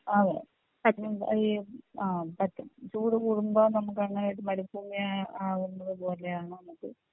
അതെ ഈ ആ പറ്റും ചൂട് കൂടുമ്പോ നമുക്ക് അങ്ങനെയൊരു മരുഭൂമിയായി ആവുന്നത് പോലെയാണ് നമുക്ക്